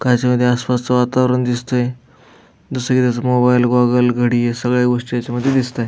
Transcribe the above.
काचेमध्ये आसपासच वातावरण दिसतंय दुसरीकड मोबाइल गॉगल घडी या सगळ्या गोष्टी याच्यामध्ये दिसताएत.